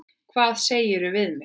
Hvað segirðu við mig?